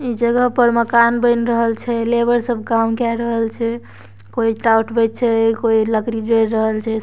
इ जगह पर मकान बएन रहल छै लेबर सब काम कए रहल छै कोय ईटा उठबे छै कोय लकड़ी जोर रहल छै।